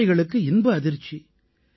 விவசாயிகளுக்கு இன்ப அதிர்ச்சி